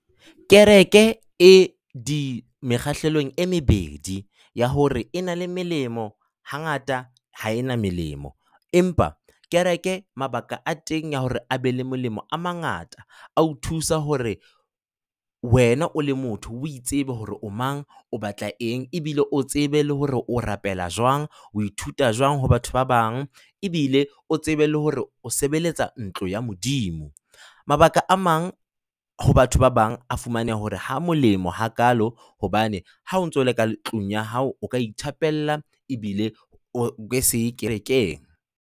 Kereke e di mekgahlelong e mebedi ya hore e na le melemo, hangata ha e na melemo. Empa kereke mabaka a teng a hore a be le molemo a mangata, a o thusa hore wena o le motho o itsebe hore o mang, o batla eng, ebile o tsebe le hore o rapela jwang. O ithuta jwang ho batho ba bang ebile o tsebe le hore o sebeletsa ntlo ya Modimo. Mabaka a mang ho batho ba bang a fumaneha hore ha molemo hakaalo hobane ha o ntso o le ka tlung ya hao, o ka ithapella ebile o ke se ye kerekeng.